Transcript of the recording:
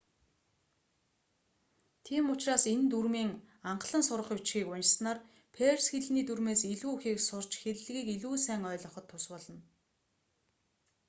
тийм учраас энэ дүрмийн анхлан сурах бичгийг уншсанаар перс хэлний дүрмээс илүү ихийг сурч хэллэгийг илүү сайн ойлгоход тус болно